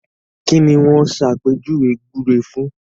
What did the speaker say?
Kí ni wọ́n ṣàpèjúwe gbúre fún?